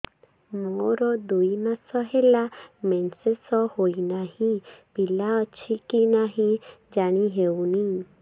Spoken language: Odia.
ମୋର ଦୁଇ ମାସ ହେଲା ମେନ୍ସେସ ହୋଇ ନାହିଁ ପିଲା ଅଛି କି ନାହିଁ ଜାଣି ହେଉନି